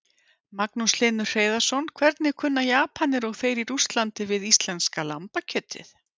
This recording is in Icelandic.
Magnús Hlynur Hreiðarsson: Hvernig kunna Japanir og þeir í Rússlandi við íslenska lambakjötið?